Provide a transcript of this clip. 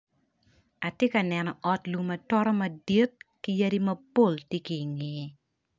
Ati ka neno ot lum atota madit, ki yadi mapol ti ki ingeye.